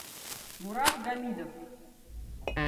мурат гамидов